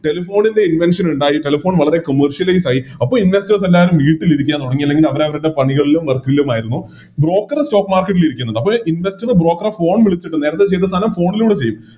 Telephone ൻറെ Invention ഇണ്ടായി Telephone വളരെ Commercial use ആയി അപ്പൊ Investors എല്ലാരും വീട്ടിലിരിക്കാൻ തൊടങ്ങി അല്ലെങ്കി അവരവരുടെ പണികളിലും Work കളിലുമായിരുന്നു Broker stock market ലിരിക്കുന്നുണ്ട് അപ്പൊ ഈ Investor എ Broker phone വിളിച്ചിട്ട് നേരത്തെ ചെയ്ത സാധനം Phone ലൂടെ ചെയ്യും